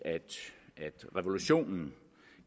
at revolutionen